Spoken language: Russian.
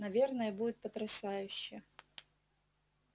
наверное будет потрясающе